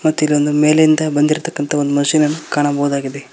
ಮತ್ತ್ ಇದೊಂದು ಮೇಲಿಂದ ಬಂದಿರ್ತಾಕಂತಹ ಒಂದ್ ಮಷೀನ್ ಅನ್ನು ಕಾಣಬಹುದಾಗಿದೆ.